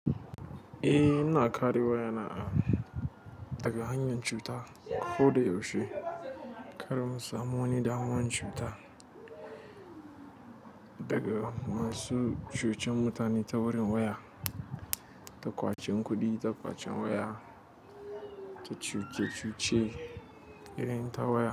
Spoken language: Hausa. Eh, ina kare waya na a daga hanyar cuta ko da yaushe. Kar mu samu wani damuwan cuta daga masu cuciye mutane ta wurin waya, ta ƙwacen kuɗi, ta ƙwacen waya, ta cuciye irin ta waya.